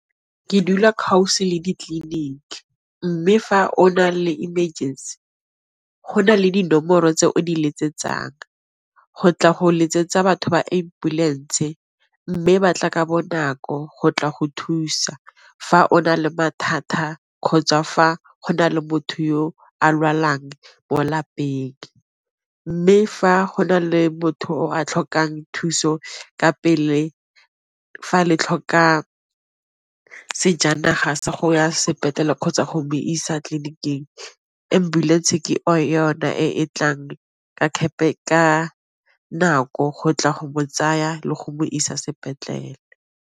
Ke dula le ditleliniki mme fa o na le emergency go na le dinomoro tse o di letsetsag, go tla go letsetsa batho ba ambulance ka mme ba tla ka bonako go tla go thusa fa o na le mathata kgotsa fa go na le botho a lwalang bo lapeng, mme fa go na le motho a tlhokang thuso ka pele fa le tlhoka sejanaga sa go ya sepetlele kgotsa go bo isa tleliniking ambulense ke yona e e tlang ka nako go tla go bo tsaya le go bo isa sepetlele.